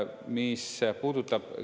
Mis puudutab …